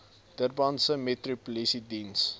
durbanse metro polisiediens